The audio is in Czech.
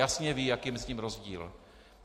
Jasně ví, jaký je mezi tím rozdíl.